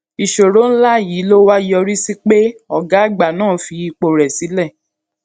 ìṣòro ńlá yìí ló wá yọrí sí pé ògá àgbà náà fi ipò rè sílè